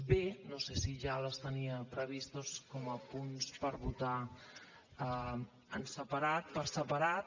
b no sé si ja les tenia previstes com a punts per votar per separat